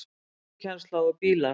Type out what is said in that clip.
ÖKUKENNSLA OG BÍLAR